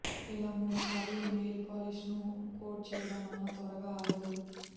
ఇలా మూడు సార్లు నెయిల్ పాలిష్ ను కోట్ చేయడం వల్ల త్వరగా ఆరదు